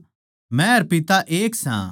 मै अर पिता एक सां